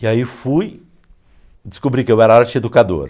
E aí fui, descobri que eu era arte-educador.